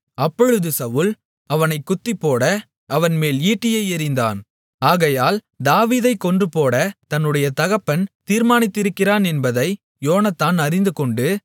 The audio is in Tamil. அப்பொழுது சவுல் அவனைக் குத்திப்போட அவன்மேல் ஈட்டியை எறிந்தான் ஆகையால் தாவீதைக் கொன்றுபோடத் தன்னுடைய தகப்பன் தீர்மானித்திருக்கிறான் என்பதை யோனத்தான் அறிந்துகொண்டு